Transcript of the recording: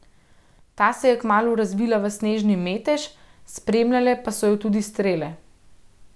Ta se je kmalu razvila v snežni metež, spremljale pa so jo tudi strele.